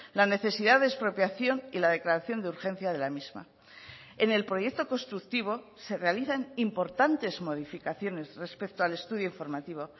la necesidad de expropiación y la declaración de urgencia de la misma en el proyecto constructivo se realizan importantes modificaciones respecto al estudio informativo